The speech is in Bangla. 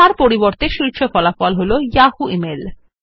তার পরিবর্তে শীর্ষ ফলাফল এখন ইয়াহু মেইল